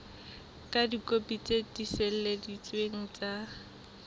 ka dikopi tse tiiseleditsweng tsa